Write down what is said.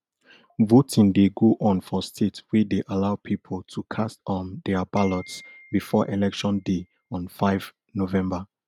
voting dey go on for states wey dey allow pipo to cast um dia ballots before election day on five november